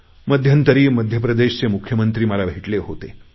मध्यंतरी मध्य प्रदेशचे मुख्यमंत्री मला भेटले होते